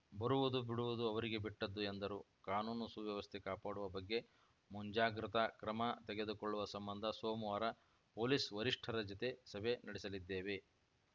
ಬರುವುದು ಬಿಡುವುದು ಅವರಿಗೆ ಬಿಟ್ಟದ್ದು ಎಂದರು ಕಾನೂನು ಸುವ್ಯವಸ್ಥೆ ಕಾಪಾಡುವ ಬಗ್ಗೆ ಮುಂಜಾಗ್ರತಾ ಕ್ರಮ ತೆಗೆದುಕೊಳ್ಳುವ ಸಂಬಂಧ ಸೋಮವಾರ ಪೊಲೀಸ್‌ ವರಿಷ್ಠರ ಜತೆ ಸಭೆ ನಡೆಸಲಿದ್ದೇವೆ